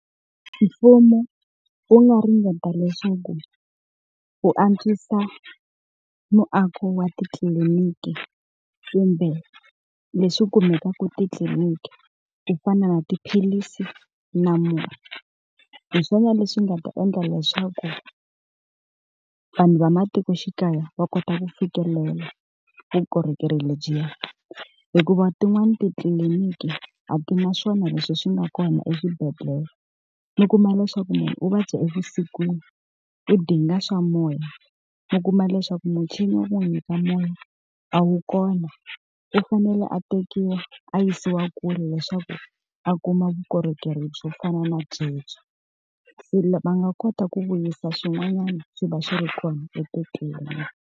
Mfumo wu nga ringeta leswaku wu antswisa muako wa titliliniki kumbe leswi kumekaka titliliniki ku fana na tiphilisi na murhi, hi swona leswi nga ta endla leswaku vanhu va matikoxikaya va kota ku fikelela vukorhokeri lebyiya. Hikuva tin'wani titliliniki a ti na swona leswi swi nga kona eswibedhlele, mi kuma leswaku munhu u vabya evusikwini, u dinga swa moya, u kuma leswaku muchini wa ku n'wi nyika moya a wu kona, u fanele a tekiwa a yisiwa kule leswaku a kuma vukorhokeri byo fana na byebyo. Se va nga kota ku vuyisa swin'wanyana swi va swi ri kona titliliniki.